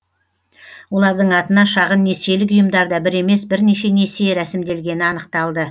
олардың атына шағын несиелік ұйымдарда бір емес бірнеше несие рәсімделгені анықталды